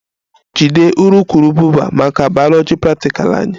Jide urukurubụba maka bayoloji praktikal anyị!